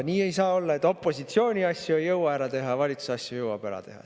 Nii ei saa olla, et opositsiooni asju ei jõua ära teha, aga valitsuse asju jõuab ära teha.